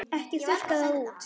Ekki þurrka það út.